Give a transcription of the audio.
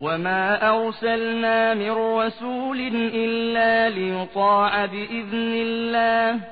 وَمَا أَرْسَلْنَا مِن رَّسُولٍ إِلَّا لِيُطَاعَ بِإِذْنِ اللَّهِ ۚ